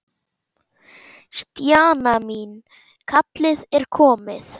Stjana mín, kallið er komið.